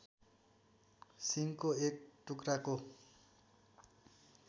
सिङको एक टुक्राको